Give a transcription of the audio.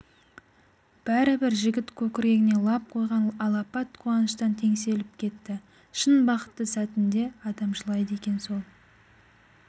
бәрібір жігіт көкірегіне лап қойған алапат қуаныштан теңселіп кетті шын бақытты сәтінде адам жылайды екен сол